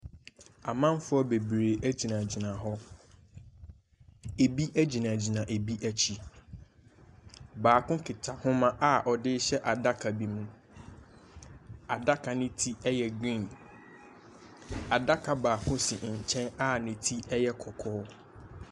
Amanfoɔ bebree gyinagyina hɔ. Ebi gyinagyina ebi akyi. Baako kita homa a ɔde rehyɛ adaka bi mu. Adaka no ti yɛ green. Adaka baako si nkyɛn a ne ti yɛ kɔkɔɔ.